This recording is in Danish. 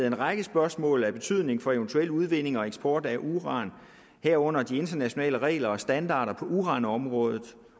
en række spørgsmål af betydning for eventuel udvinding og eksport af uran herunder de internationale regler og standarder på uranområdet